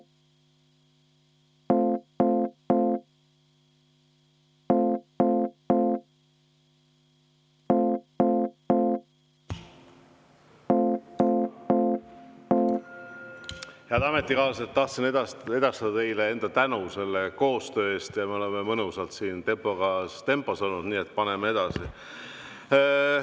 Head ametikaaslased, tahtsin edastada teile enda tänu koostöö eest, me oleme siin mõnusas tempos, nii et paneme edasi.